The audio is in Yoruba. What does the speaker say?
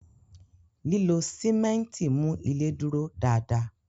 Lilọ simẹnti mú ilé dúró dá dá